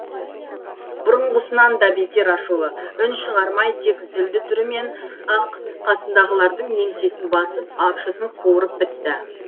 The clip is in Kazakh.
бұрынғысынан да бетер ашулы үн шығармай тек зілді түрімен ақ қасындағылардың еңсесін басып апшысын қуырып бітті